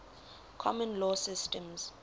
common law systems